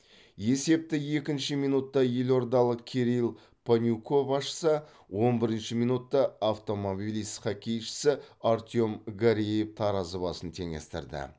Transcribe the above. есепті екінші минутта елордалық кирилл панюков ашса он бірінші минутта автомобилист хоккейшісі артем гареев таразы басын теңестірді